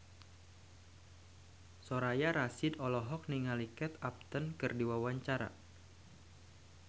Soraya Rasyid olohok ningali Kate Upton keur diwawancara